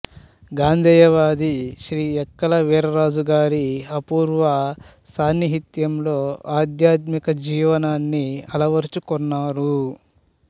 గాంధేయవాది శ్రీ యక్కల వీర్రాజుగారి అపూర్వ సాన్నిహిత్యంలో ఆధ్యాత్మిక జీవనాన్ని అలవరచుకొన్నారు